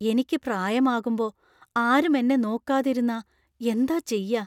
എനിക്ക് പ്രായമാകുമ്പോ ആരും എന്നെ നോക്കാതിരുന്നാ എന്താ ചെയ്യാ?